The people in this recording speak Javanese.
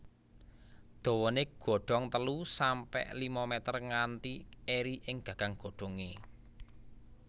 Dawané godong telu sampe lima mèter kanthi eri ing gagang godhongé